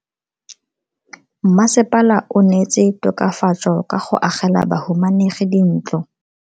Mmasepala o neetse tokafatso ka go agela bahumanegi dintlo.